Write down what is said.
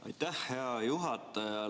Aitäh, hea juhataja!